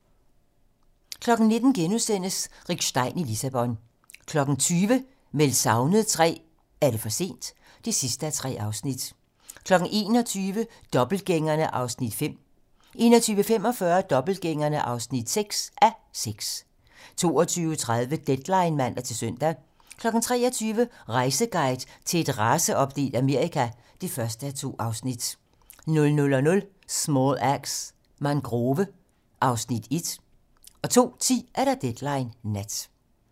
19:00: Rick Stein i Lissabon * 20:00: Meldt savnet III - Er det for sent? (3:3) 21:00: Dobbeltgængerne (5:6) 21:45: Dobbeltgængerne (6:6) 22:30: Deadline (man-søn) 23:00: Rejseguide til et raceopdelt Amerika (1:2) 00:00: Small Axe: Mangrove (Afs. 1) 02:10: Deadline nat